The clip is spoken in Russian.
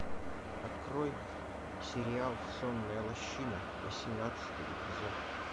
открой сериал сонная лощина восемнадцатый эпизод